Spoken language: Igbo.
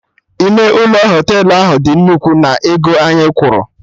Ime ụlọ Họtelụ ahụ dị nnukwu na ego anyị kwụrụ